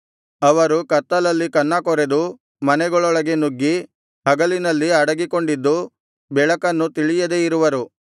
ಅವರು ಕತ್ತಲಲ್ಲಿ ಕನ್ನಕೊರೆದು ಮನೆಗಳೊಳಗೆ ನುಗ್ಗಿ ಹಗಲಿನಲ್ಲಿ ಅಡಗಿಕೊಂಡಿದ್ದು ಬೆಳಕನ್ನು ತಿಳಿಯದೆ ಇರುವರು